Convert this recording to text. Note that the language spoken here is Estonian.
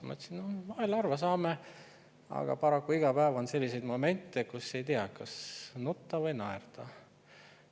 Ma ütlesin, et vahel harva saame, aga paraku iga päev on selliseid momente, kus ei tea, kas nutta või naerda.